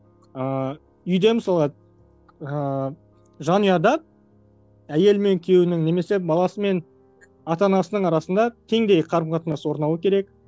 ыыы үйде мысалы ыыы жанұяда әйелі мен күйеуінің немесе баласы мен ата анасының арасында теңдей қарым қатынас орнауы керек